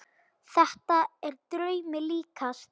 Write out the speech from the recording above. Þetta er draumi líkast.